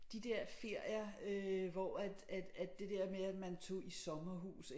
De der ferier øh hvor at at at det der med at man tog i sommerhus